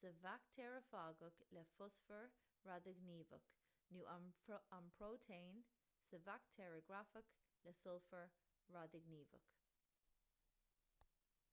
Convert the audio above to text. sa bhaictéarafagach le fosfar radaighníomhach nó an próitéin sa bhaictéaragrafach le sulfar radaighníomhach